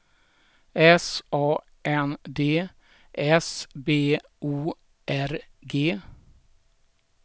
S A N D S B O R G